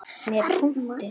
Með punkti.